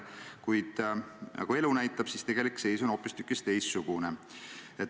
Kuid nagu elu näitab, tegelik seis on hoopistükkis teistsugune.